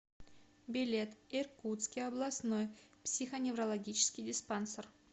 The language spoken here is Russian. билет иркутский областной психоневрологический диспансер